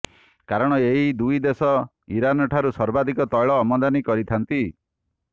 କାରଣ ଏହି ଦୁଇ ଦେଶ ଇରାନ ଠାରୁ ସର୍ବାଧିକ ତୈଳ ଆମଦାନୀ କରିଥାନ୍ତି